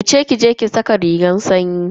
Wuce ki je ki saka rigar sanyi.